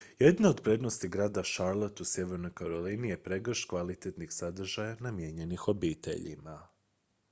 jedna od prednosti grada charlotte u sjevernoj karolini je pregršt kvalitetnih sadržaja namijenjenih obiteljima